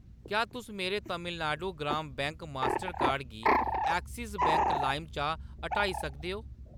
क्या तुस मेरे Tamil Nadu Gram bank master card गी एक्सिस बैंक लाइम चा हटाई सकदे ओ ?